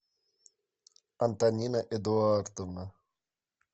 антонина эдуардовна